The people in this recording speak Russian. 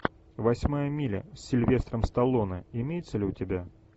восьмая миля с сильвестром сталлоне имеется ли у тебя